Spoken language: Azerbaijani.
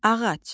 Ağac.